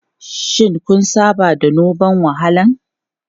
Shin kun saba da noman walahan?